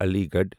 Ali Garh